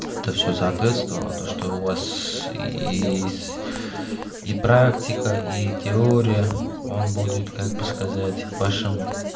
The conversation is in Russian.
это все соответствовало то что у вас и с и практика и теория он будет как бы сказать вашим